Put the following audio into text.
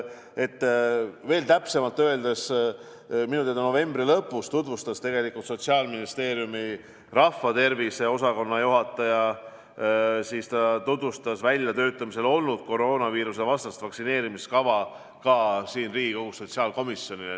Kui veel täpsemalt rääkida, siis minu teada novembri lõpus tutvustas Sotsiaalministeeriumi rahvatervise osakonna juhataja tookord veel väljatöötamisel olnud koroonaviiruse vastast vaktsineerimiskava ka Riigikogu sotsiaalkomisjonile.